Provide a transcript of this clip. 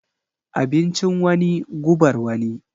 Abincin wani gubar wani.